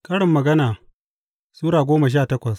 Karin Magana Sura goma sha takwas